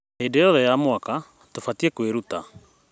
Hĩndĩ yothe ya mwaka, tũbatiĩ kwĩruta